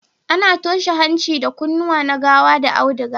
A na toshe hanci da kunnuwa na gawa da auduga